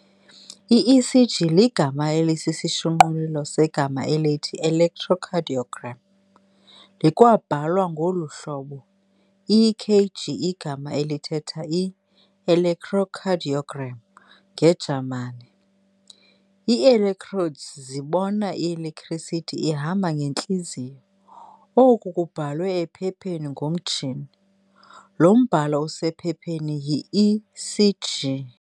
I-ECG ligama aelisisishunqulelo segama elithi-ElectroCardioGram. likwabhalwa ngolu hlobo EKG igama elithetha i-ElectroKardioGram ngeJamani. Ii-electrodes zibona i-electricity ihamba ngentliziyo. oku kubhalwe ephepheni ngomtshini. lo mbhalo usephepheni yi-ECG.